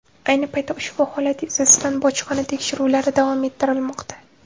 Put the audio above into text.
Ayni paytda ushbu holat yuzasidan bojxona tekshiruvlari davom ettirilmoqda.